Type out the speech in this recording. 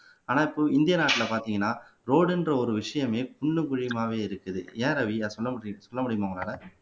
ஆனா இப்போ இந்தியா நாட்டுல பார்த்தீங்கன்னா ரோடுன்ற ஒரு விஷயமே குண்டும் குழியுமாவே இருக்குது ஏன் ரவி சொல்ல முடியுமா உங்களால